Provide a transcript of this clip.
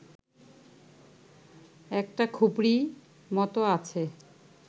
একটা খুপরি মতো আছে